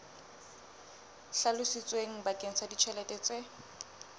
hlalositsweng bakeng sa ditjhelete tse